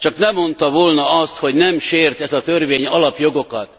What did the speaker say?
Csak ne mondta volna azt, hogy nem sért ez a törvény alapjogokat.